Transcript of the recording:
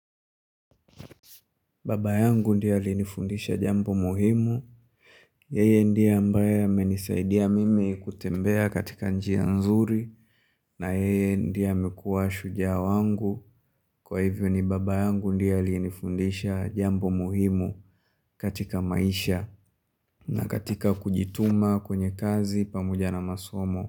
Baba yangu ndie alinifundisha jambo muhimu, yeye ndie ambaye amenisaidia mimi kutembea katika njia nzuri na yeye ndie amikuwa shujaa wangu kwa hivyo ni baba yangu ndie alinifundisha jambo muhimu katika maisha na katika kujituma kwenye kazi pamoja na masomo.